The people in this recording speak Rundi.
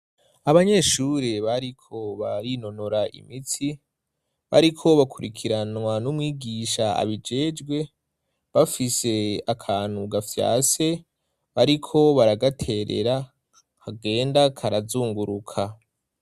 Abanyeshuri bariko barinonora imitsi bariko bakurikiranwa n'umwigisha abijejwe bafise akantu gafyase bariko baragaterera kagenda karazunguruka.